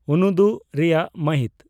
ᱩᱱᱩᱫᱩᱜ ᱨᱮᱭᱟᱜ ᱢᱟᱹᱦᱤᱛ